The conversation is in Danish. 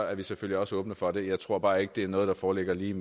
er vi selvfølgelig også åbne for det jeg tror bare ikke det er noget der foreligger lige